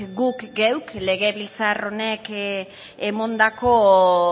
guk geuk legebiltzar honek emandako